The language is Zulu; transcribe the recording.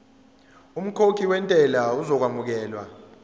umkhokhi wentela uzokwamukelwa